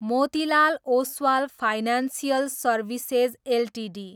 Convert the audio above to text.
Motilal Oswal financial services Ltd